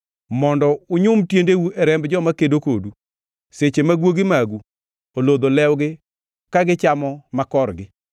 mondo unyum tiendeu e remb joma kedo kodu, seche ma guogi magu olodho lewgi ka gichamo makorgi.”